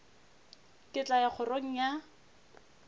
ke tla ya kgorong ya